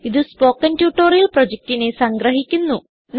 ഇതു spoken tutorial പ്രൊജക്റ്റിനെ സംഗ്രഹിക്കുന്നു